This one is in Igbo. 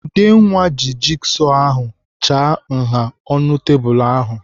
Udenwa ji jigsọ ahụ chaa nha ọnụ tebụl ahụ.